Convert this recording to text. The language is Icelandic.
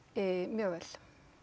mjög vel